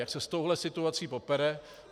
Jak se s touhle situací popere?